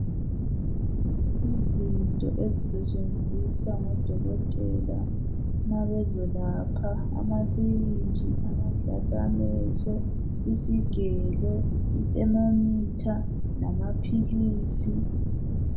Izinto ezisetshenziswa ngabo dokotela ma bezolapha: amasirinji, amaglass amehlo , isigelo, ithermometer lamaphilisi.